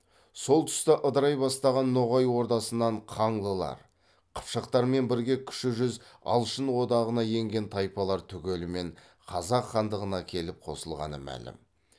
сол тұста ыдырай бастаған ноғай ордасынан қаңлылар қыпшақтармен бірге кіші жүз алшын одағына енген тайпалар түгелімен қазақ хандығына келіп қосылғаны мәлім